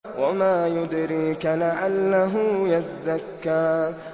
وَمَا يُدْرِيكَ لَعَلَّهُ يَزَّكَّىٰ